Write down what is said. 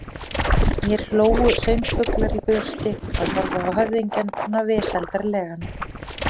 Mér hlógu söngfuglar í brjósti, að horfa á höfðingjann svona vesældarlegan.